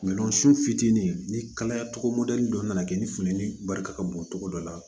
fitinin ni kalaya cogo mɔdɛli dɔ nana kɛ ni funtɛni bali ka bon cogo dɔ la